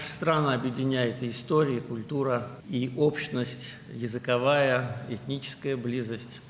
Ölkəmizi tarix də, mədəniyyət də, ortaq dil yaxınlığı da, etnik yaxınlıq da birləşdirir.